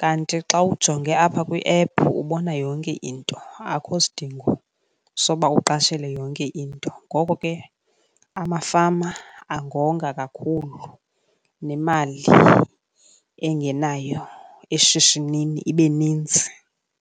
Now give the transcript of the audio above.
kanti xa ujonge apha kwiephu ubona yonke into, akho sidingo soba uqashele yonke into. Ngoko ke amafama angonga kakhulu nemali engenayo eshishinini ibe ninzi.